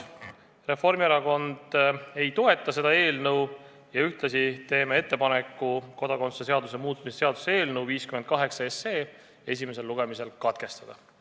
Reformierakond ei toeta seda eelnõu ja ühtlasi teeme ettepaneku kodakondsuse seaduse muutmise seaduse eelnõu 58 esimene lugemine katkestada.